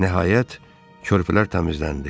Nəhayət, körpülər təmizləndi.